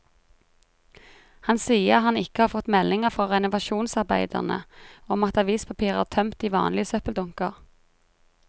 Han sier han ikke har fått meldinger fra renovasjonsarbeiderne om at avispapir er tømt i vanlige søppeldunker.